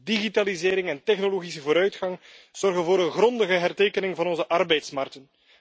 Digitalisering en technologische vooruitgang zorgen voor een grondige hertekening van onze arbeidsmarkt.